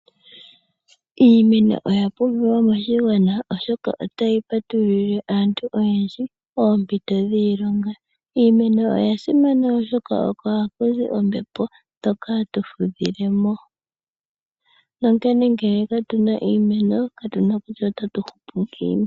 Iimeno oya pumbiwa moshigwana, oshoka otayi patululile aantu oyendji oompito dhiilonga. Iimeno oya simana oshoka, oko haku zi ombepo ndyoka hatu fudhile mo. Onkene ngele katuna iimeno, katuna kutya otatu hupu ngiini.